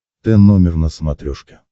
т номер на смотрешке